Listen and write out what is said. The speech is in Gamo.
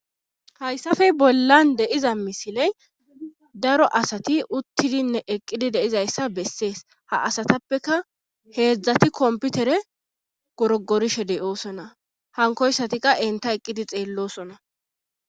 Hayssafey bollan deiza misiley daro asati uttidinne eqqidi deizayssa bessees ha asatappeka heedzdzati komputere gorogorishe deyoosona hankoyssatika enta eqqidi xeellosona.